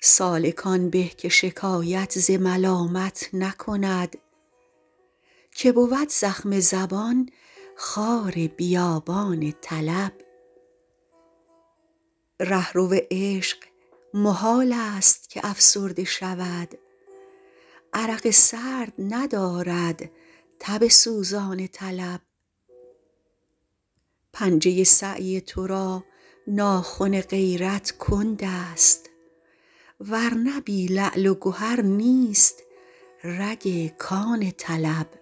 سالک آن به که شکایت ز ملامت نکند که بود زخم زبان خار بیابان طلب رهرو عشق محال است که افسرده شود عرق سرد ندارد تب سوزان طلب پنجه سعی ترا ناخن غیرت کندست ورنه بی لعل و گهر نیست رگ کان طلب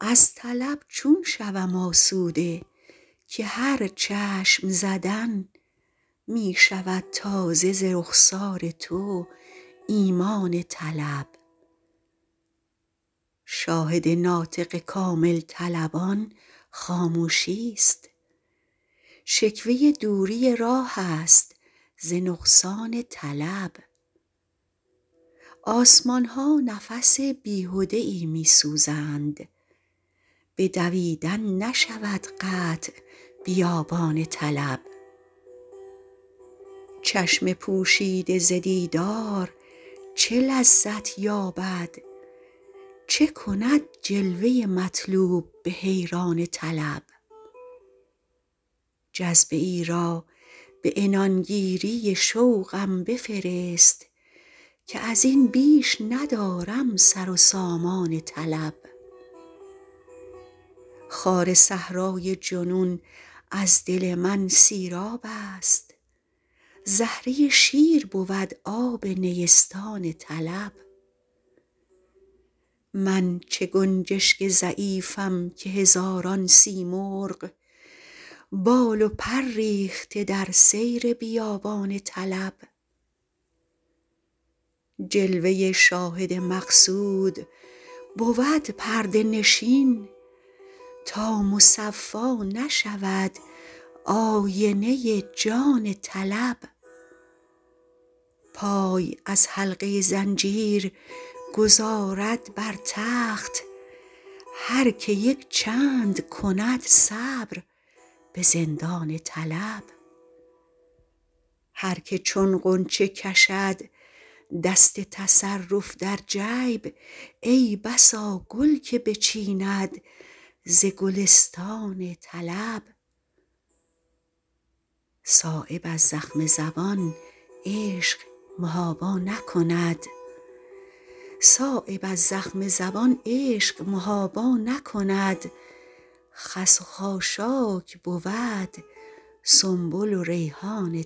از طلب چون شوم آسوده که هر چشم زدن می شود تازه ز رخسار تو ایمان طلب شاهد ناطق کامل طلبان خاموشی است شکوه دوری راه است ز نقصان طلب آسمان ها نفس بیهده ای می سوزند به دویدن نشود قطع بیابان طلب چشم پوشیده ز دیدار چه لذت یابد چه کند جلوه مطلوب به حیران طلب جذبه ای را به عنان گیری شوقم بفرست که ازین بیش ندارم سر و سامان طلب خار صحرای جنون از دل من سیراب است زهره شیر بود آب نیستان طلب من چه گنجشک ضعیفم که هزاران سیمرغ بال و پر ریخته در سیر بیابان طلب جلوه شاهد مقصود بود پرده نشین تا مصفا نشود آینه جان طلب پای از حلقه زنجیر گذارد بر تخت هر که یک چند کند صبر به زندان طلب هر که چون غنچه کشد دست تصرف در جیب ای بسا گل که بچیند ز گلستان طلب صایب از زخم زبان عشق محابا نکند خس و خاشاک بود سنبل و ریحان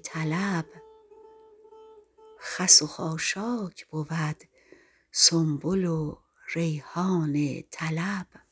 طلب